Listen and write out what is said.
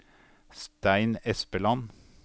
Stein Espeland